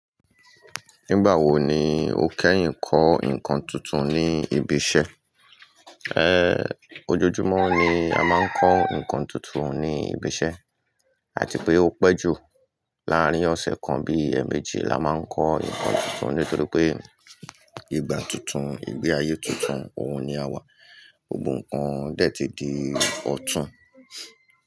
Nígbà wo ni ó kẹ́yìn kọ́ nǹkan tuntun ní ibi iṣẹ́? Ojoojúmọ́ ni a máa ń kọ́ nǹkan tuntun ní ibi iṣẹ́ àti pé ó pẹ́ jù láàárín ọ̀sẹ̀ kan bí ẹmẹ̀éjì la máa ń kọ́ nǹkan tuntun nítorí pé ìgbà tuntun, ìgbé ayé tuntun, òun ni a wà. Gbogbo nǹkan dẹ̀ ti di ọ̀tún.